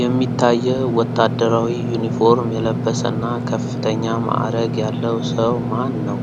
የሚታየው ወታደራዊ ዩኒፎርም የለበሰና ከፍተኛ ማዕረግ ያለው ሰው ማን ነው?